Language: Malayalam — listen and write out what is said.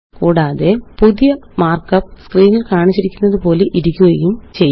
കൂടാതെ പുതിയ മാര്ക്കപ്പ് സ്ക്രീനില് കാണിച്ചിരിക്കുന്നതുപോലെയിരിക്കുകയും ചെയ്യും